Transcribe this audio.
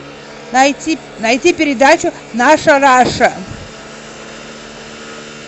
найти передачу наша раша